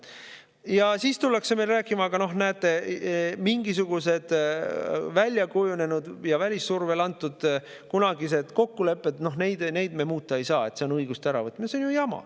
Ja siis tullakse meile rääkima, aga noh, näete, on mingisugused väljakujunenud ja välissurvel antud kunagised kokkulepped ja neid ei saa muuta, sest see on õiguste äravõtmine.